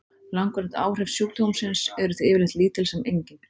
Langvarandi áhrif sjúkdómsins eru því yfirleitt lítil sem engin.